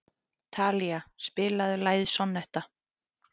Talía, spilaðu lagið „Sonnetta“.